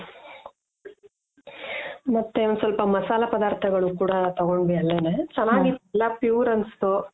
ಮತ್ತೆ ಒಂದು ಸ್ವಲ್ಪ ಮಸಾಲೆ ಪದಾರ್ಥಗಳು ಕೂಡ ತಗೊಂಡ್ವಿ ಅಲ್ಲೆನೆ. ಚೆನಾಗಿ ಇತ್ತು ಎಲ್ಲ ಪ್ಯೂರ್ ಅನುಸ್ತು